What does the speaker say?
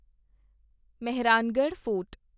Mehrangarh fort